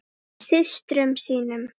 Systrum sínum.